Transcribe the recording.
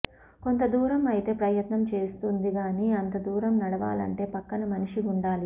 కొంత దూరం అయితే ప్రయత్నం చేస్తుంది గాని అంత దూరం నడవాలంటే పక్కన మనిషి ఉండాలి